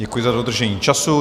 Děkuji za dodržení času.